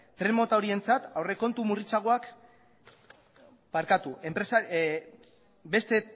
beste